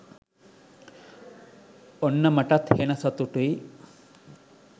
ඔන්න මටත් හෙන සතුටුයි